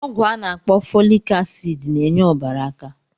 Ọgwụ a na-akpọ fọlik asịd n'enye ọbara aka.